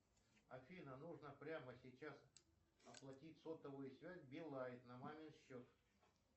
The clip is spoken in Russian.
афина нужно прямо сейчас оплатить сотовую связь билайн на мамин счет